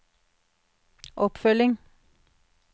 oppfølging